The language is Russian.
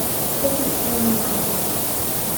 кот ученый адрес